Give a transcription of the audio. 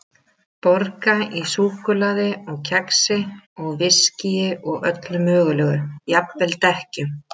Borga í súkkulaði og kexi og viskíi og öllu mögulegu, jafnvel dekkjum.